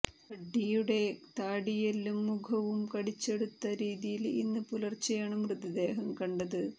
കഡ്ഡിയുടെ താടിയെല്ലും മുഖവും കടിച്ചെടുത്ത രീതിയില് ഇന്ന് പുലര്ച്ചെയാണ് മൃതദേഹം കണ്ടത്